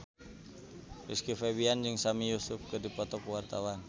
Rizky Febian jeung Sami Yusuf keur dipoto ku wartawan